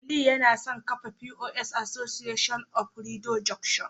Aliyu yana son kafa POS Association of Rido junction